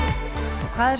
hvað er